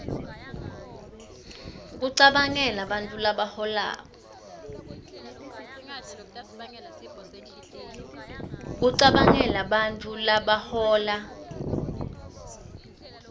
kucabangela bantfu labahola